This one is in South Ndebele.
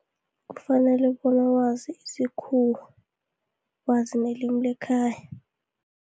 Kufanele bona wazi isikhuwa, wazi nelimi lekhaya.